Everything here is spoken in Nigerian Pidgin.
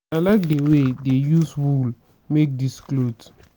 i like the way dey use wool make dis cloth